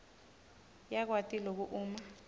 yakwati loku uma